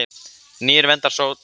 Nýir vendir sópa best.